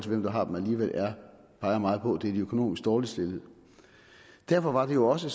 hvem der har dem alligevel peger meget på at det er de økonomisk dårligt stillede derfor var det jo også